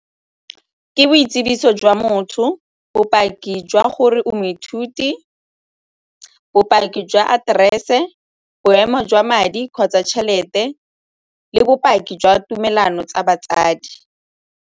Ke boitsibiso jwa motho, bopaki jwa gore o moithuti, bopaki jwa aterese, boemo jwa madi kgotsa tšhelete le bopaki jwa tumelano tsa batsadi.